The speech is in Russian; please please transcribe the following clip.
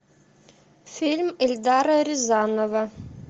фильм эльдара рязанова